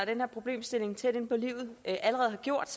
den her problemstilling tæt inde på livet allerede har gjort